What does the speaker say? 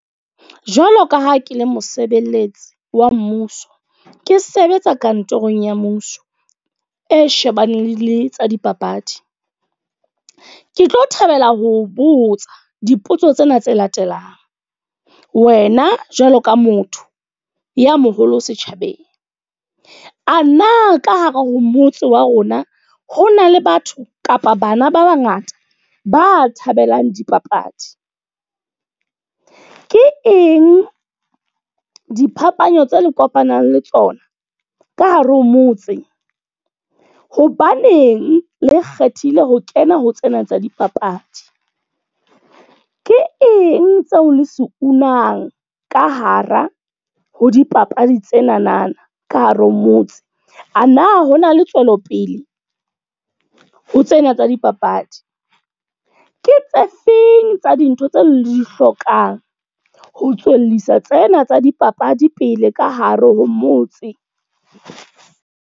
Jwalo ka ha ke le mosebeletsi wa mmuso. Ke sebetsa kantorong ya mmuso e shebaneng le tsa dipapadi. Ke tlo thabela ho botsa dipotso tsena tse latelang. Wena jwalo ka motho ya moholo setjhabeng. A na ka hare ho motse wa rona, ho na le batho kapa bana ba bangata ba thabelang dipapadi. Ke eng diphapano tse le kopanang le tsona ka hare ho motse? Hobaneng le kgethile ho kena ho tsena tsa dipapadi? Ke eng tseo le se unang ka hara ho dipapadi tsenana ka hare ho motse? A na hona le tswelopele ho tsena tsa dipapadi? Ke tse feng tsa dintho tseo le di hlokang, ho tswellisa tsena tsa dipapadi pele ka hare ho motse?